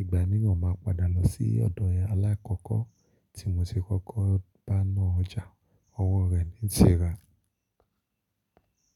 ìgbà miiran máa padà lọ sí ọ̀dọ̀ ẹni alákọ̀ọ́kọ́ tí mo ṣi kọ́kọ́ bá na ọjà owó rẹ̀ ní n ti rà.